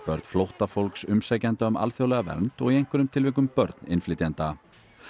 börn flóttafólks umsækjenda um alþjóðlega vernd og í einhverjum tilvikum börn innflytjenda